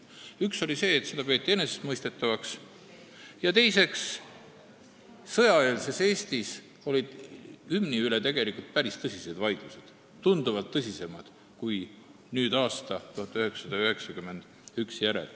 Üks on see, et seda peeti enesestmõistetavaks, ja teine on see, et sõjaeelses Eestis olid hümni üle olnud tegelikult päris tõsised vaidlused, tunduvalt tõsisemad kui pärast aastat 1991.